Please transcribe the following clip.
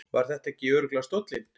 Var þetta ekki örugglega stóllinn?